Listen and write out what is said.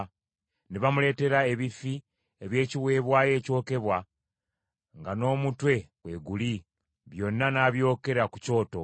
Ne bamuleetera ebifi eby’ekiweebwayo ekyokebwa nga n’omutwe kweguli; byonna n’abyokera ku kyoto.